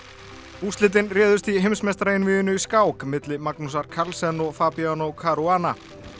úrslitin réðust í vheimsmeistaraeinvíginu í skák milli Magnusar Carlsen og Fabiano Caruana